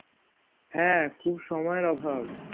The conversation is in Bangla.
হ্যাঁ খুব সময়ের অভাব